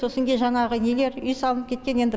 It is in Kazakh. сосын кейін жаңағы нелер үй салынып кеткен енді